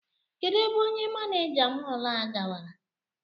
Kedụ ebe onye manịja mọl a gawara?